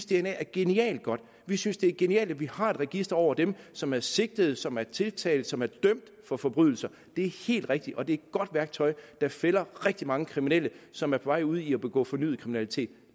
dna er genialt og godt vi synes det er genialt at vi har et register over dem som er sigtet som er tiltalt som er dømt for forbrydelser det er helt rigtigt og det er et godt værktøj der fælder rigtig mange kriminelle som er på vej ud i at begå fornyet kriminalitet